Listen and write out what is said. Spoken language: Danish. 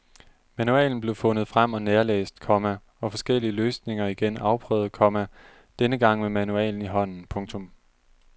Manualen blev fundet frem og nærlæst, komma og forskellige løsninger igen afprøvet, komma denne gang med manualen i hånden. punktum